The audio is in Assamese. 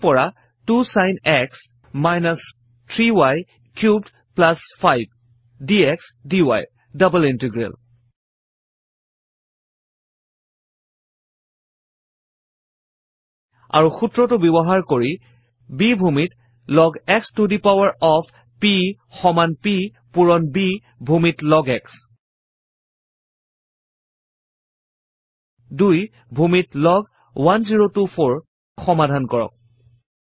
T ৰ পৰা 2 sin x - 3 y cubed 5 dx dy ৰ ডাবল ইন্টিগ্ৰেল160 আৰু সূত্ৰ ব্যৱহাৰ কৰি b ভুমিত log x to the power of p সমান p পূৰণ b ভুমিত লগ x160 2 ভূমিত লগ 1024 ক সমাধান কৰক